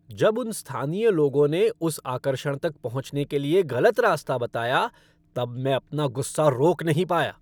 जब उन स्थानीय लोगों ने उस आकर्षण तक पहुंचने के लिए गलत रास्ता बताया तब मैं अपना गुस्सा रोक नहीं पाया।